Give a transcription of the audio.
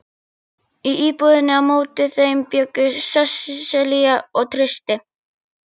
Í íbúðinni á móti þeim bjuggu Sesselía og Trausti.